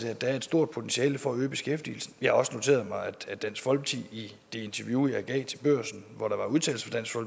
at der er et stort potentiale for at øge beskæftigelsen jeg har også noteret mig at dansk folkeparti i det interview jeg gav til børsen hvor der var udtalelser